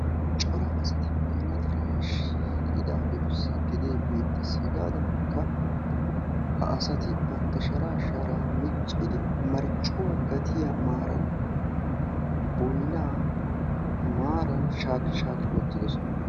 Cora asati boynna tara shiiqidaagetussi gede beettes. Hegadankka ha asati bantta shara shara miccidi marccuwa gatiya maaran boynna maaran shaaki shaaki wottidoosona.